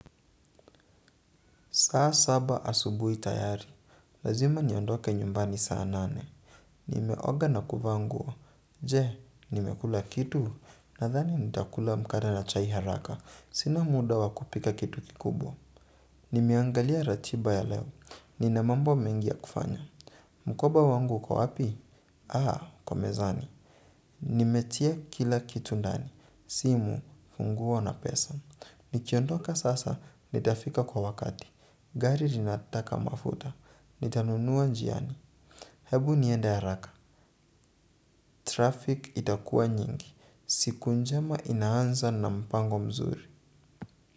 Saa saba asubui tayari. Lazima niondoke nyumbani saa nane. Nimeoga na kuvanguo. Je, nimekula kitu. Nathani nitakula mkade na chai haraka. Sina muda wakupika kitu kikubwa. Nimeangalia ratiba ya leo. Ninamambo mengia ya kufanya. Mukoba wangu uko wapi? Aa, kwa mezani. Nimetia kila kitu ndani. Simu, funguo na pesa. Nikiondoka sasa nitafika kwa wakati gari linataka mafuta nitanunua njiani. Hebu niende haraka, traffic itakua nyingi siku njema inaanza na mpango mzuri.